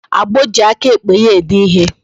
Agbo ji aka ekpe ya ede ihe